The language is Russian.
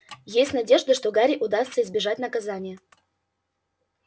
есть надежда что гарри удастся избежать наказания